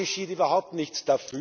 Dafür geschieht überhaupt nichts.